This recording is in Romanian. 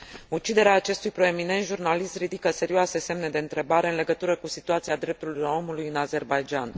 Uciderea acestui proeminent jurnalist ridică serioase semne de întrebare în legătură cu situația drepturilor omului în Azerbaidjan.